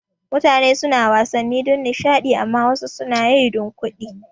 Mutane suna wasanni don nishada amma wasu suna yi don kuɗi